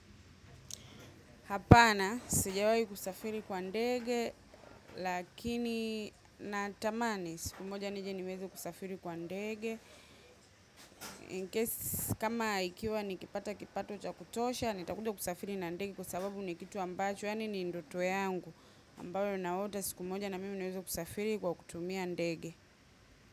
Hapana, sijawai kusafiri kwa ndege, lakini natamani siku moja nije niweze kusafiri kwa ndege. In case, kama ikiwa nikipata kipato cha kutosha, nitakuja kusafiri na ndege kwa sababu ni kitu ambacho, yaani ni ndoto yangu. Ambayo naota siku moja na mimi niweze kusafiri kwa kutumia ndege.